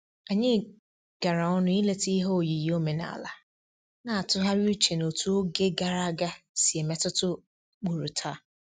Anyị gara ọnụ ileta ihe oyiyi omenala, na-atụgharị uche n'otú oge gara aga si emetụta ụkpụrụ taa